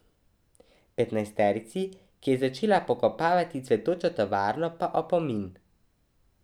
Petnajsterici, ki je začela pokopavati cvetočo tovarno, pa opomin.